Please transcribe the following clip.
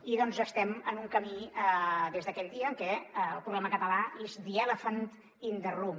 i estem en un camí des d’aquell dia en què el problema català is the elephant in the room